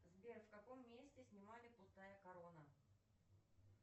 сбер в каком месте снимали пустая корона